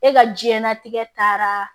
E ka diɲɛlatigɛ taara